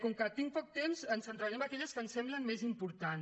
com que tinc poc temps em centraré en aquelles que em semblem més importants